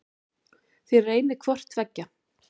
Þér reynið hvort tveggja.